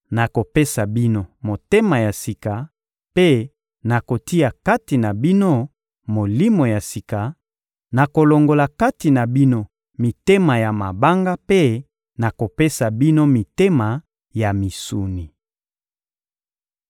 Nakopesa bino motema ya sika mpe nakotia kati na bino molimo ya sika; nakolongola kati na bino mitema ya mabanga mpe nakopesa bino mitema ya misuni.